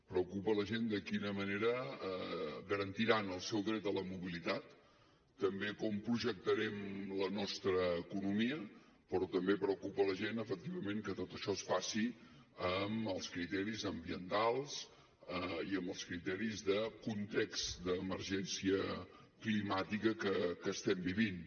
preocupa la gent de quina manera garantiran el seu dret a la mobilitat també com projectarem la nostra economia però també preocupa la gent efectivament que tot això es faci amb els criteris ambientals i amb els criteris de context d’emergència climàtica que estem vivint